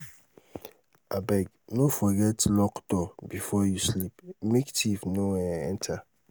abeg no forget um lock door before you sleep make um thief no um enter